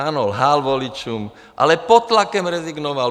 Ano, lhal voličům, ale pod tlakem rezignoval.